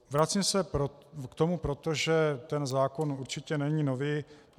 Vracím se k tomu proto, že zákon určitě není nový.